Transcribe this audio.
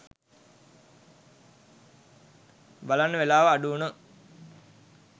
බලන්න වෙලාව අඩු වුන